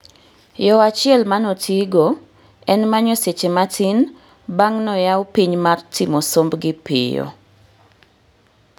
Yo achiel manotii go en manyo seche matin bang' noyau piny mar timo sombgi piyo